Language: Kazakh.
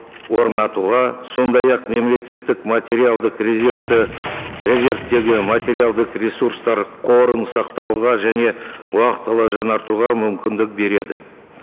орнатуға сондай ақ мемлекеттік материалдық резервті резервтегі материалдық ресурстар қорын сақтауға және уақытылы жаңартуға мүмкіндік береді